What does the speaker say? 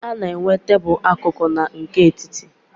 A na -enwe tebulu akụkụ na nke etiti.